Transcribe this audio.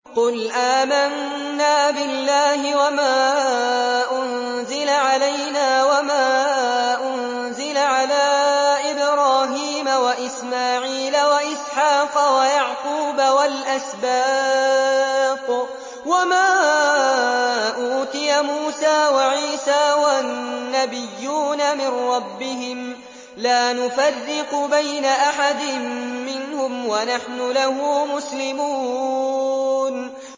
قُلْ آمَنَّا بِاللَّهِ وَمَا أُنزِلَ عَلَيْنَا وَمَا أُنزِلَ عَلَىٰ إِبْرَاهِيمَ وَإِسْمَاعِيلَ وَإِسْحَاقَ وَيَعْقُوبَ وَالْأَسْبَاطِ وَمَا أُوتِيَ مُوسَىٰ وَعِيسَىٰ وَالنَّبِيُّونَ مِن رَّبِّهِمْ لَا نُفَرِّقُ بَيْنَ أَحَدٍ مِّنْهُمْ وَنَحْنُ لَهُ مُسْلِمُونَ